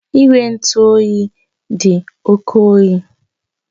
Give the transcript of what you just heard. Igwe ntụ oyi dị oke oyi